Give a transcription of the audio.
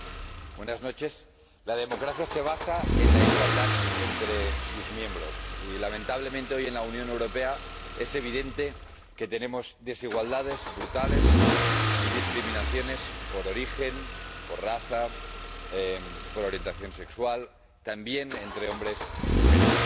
Señor Presidente, la democracia se basa en la igualdad entre sus miembros y, lamentablemente, hoy en la Unión Europea es evidente que tenemos desigualdades brutales y discriminaciones por origen, por raza, por orientación sexual, y también entre hombres y mujeres.